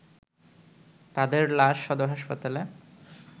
তাদের লাশ সদর হাসপাতালে